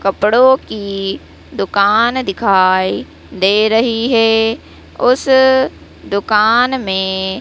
कपड़ो की दुकान दिखाई दे रही है उस दुकान में--